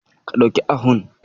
Ka ɗauki ahun.